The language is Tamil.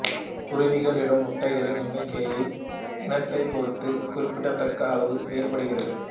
குருவிகள் இடும் முட்டைகளின் எண்ணிக்கையானது இனத்தைப் பொறுத்து குறிப்பிடத்தக்க அளவு வேறுபடுகிறது